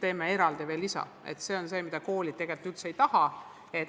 Need tuleb eraldi teha ja see on see, mida koolid tegelikult üldse ei taha.